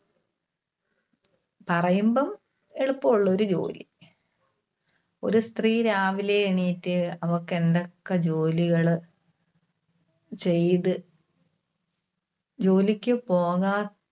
പറയുമ്പം എളുപ്പം ഉള്ളൊരു ജോലി. ഒരു സ്ത്രീ രാവിലെ എണീറ്റ് അവൾക്ക് എന്തൊക്കെ ജോലികള് ചെയ്‌ത്‌, ജോലിക്കു പോകാ~